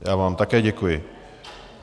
Já vám také děkuji.